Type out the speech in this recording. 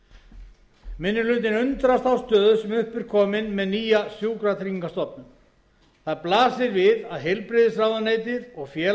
minni hlutinn undrast þá stöðu sem upp er komin með nýja sjúkratryggingastofnun það blasir við að heilbrigðisráðuneyti og félags og